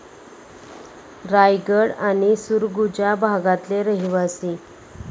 रायगड आणि सुरगुजा भागातले रहीवासी.